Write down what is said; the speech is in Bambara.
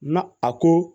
Na a ko